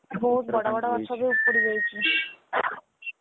ବହୁତ ବଡ ବଡ ଗଛ ବି ଉପୁଡି ଯାଇଛି ।